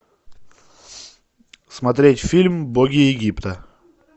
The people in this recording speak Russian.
смотреть фильм боги египта